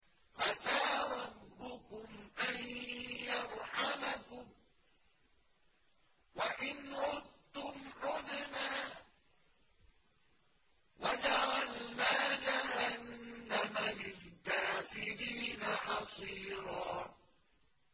عَسَىٰ رَبُّكُمْ أَن يَرْحَمَكُمْ ۚ وَإِنْ عُدتُّمْ عُدْنَا ۘ وَجَعَلْنَا جَهَنَّمَ لِلْكَافِرِينَ حَصِيرًا